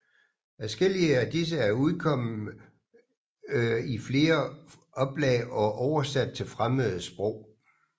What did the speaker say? Adskillige af disse er udkomme i flere oplag og oversat til fremmede sprog